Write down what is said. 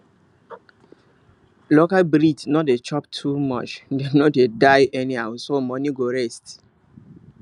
local breed no dey chop too much and dem no dey die anyhow so money go rest